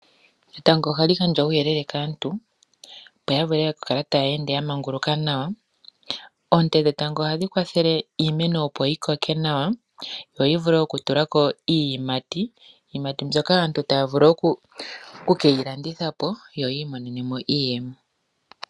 Etango ohali gandja uuyelele kaantu opo ya vule okukala taya ende ya manguluka nawa. Oonte dhetango ohadhi kwathele iimeno opo yi koke nawa yo yi vule oku tulako iiyimati. Iiyimati mbyoka aantu taya vulu okukeyi landitha po yo yiimonene iiyemo.